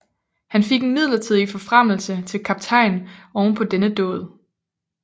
Han fik en midlertidig forfremmelse til kaptajn oven på denne dåd